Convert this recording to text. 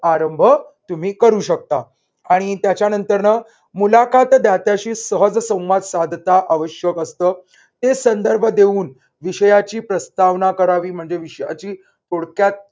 आरंभ तुम्ही करू शकता आणि त्याच्यानंतर न मुलाखत दात्याशी सहज संवाद साधता आवश्यक असतं. ते संदर्भ देऊन विषयाची प्रस्तावना करावी म्हणजे विषयाची थोडक्यात